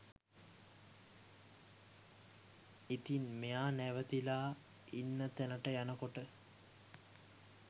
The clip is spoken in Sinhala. ඉතින් මෙයා නැවතිලා ඉන්න තැනට යනකොට